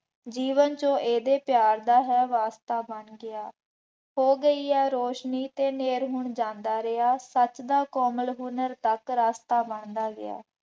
ਜੀਵਨ ਜੋ ਇਹਦੇ ਪਿਆਰ ਦਾ ਹੈ ਵਾਸਤਾ ਬਣ ਗਿਆ। ਹੋ ਗਈ ਹੈ ਰੌਸ਼ਨੀ ਅਤੇ ਹਨੇਰ ਹੁਣ ਜਾਂਦਾ ਰਿਹਾ। ਸੱਚ ਦਾ ਕੋਮਲ ਹੁਨਰ ਤੱਕ ਰਸਤਾ ਬਣਦਾ ਗਿਆ ।